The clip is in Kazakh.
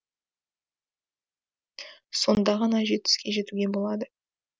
сонда ғана жеңіске жетуге болады